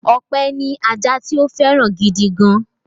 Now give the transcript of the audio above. Ọpẹ́ ní ajá tí ó fẹ́ràn gidi gan-an.